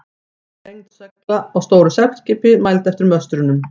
Samanlögð lengd segla á stóru seglskipi, mæld eftir möstrunum.